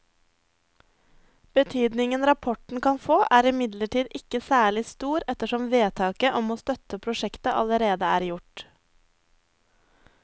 Betydningen rapporten kan få er imidlertid ikke særlig stor ettersom vedtaket om å støtte prosjektet allerede er gjort.